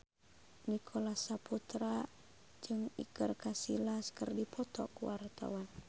Nicholas Saputra jeung Iker Casillas keur dipoto ku wartawan